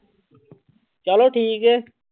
ਚਲੋ ਠੀਕ ਹੈ।